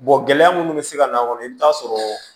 gɛlɛya minnu bɛ se ka na a kɔnɔ i bɛ taa sɔrɔ